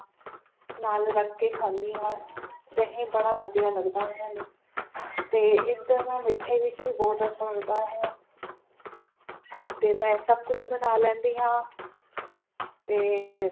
ਨਾਲ ਰੱਖ ਕੇ ਖਾਂਦੀ ਹਾਂ ਦਹੀਂ ਬੜਾ ਵਧੀਆ ਲੱਗਦਾ ਹੈ ਮੈਨੂੰ ਤੇ ਇਸ ਮਿੱਠੇ ਵੀ ਚੀਜ਼ ਬੋਹੋਤ ਅੱਛਾ ਲੱਗਦਾ ਹੈ ਤੇ ਮੈਂ ਸਭ ਕੁਝ ਬਣਾ ਲੈਂਦੀ ਹਾਂ ਤੇ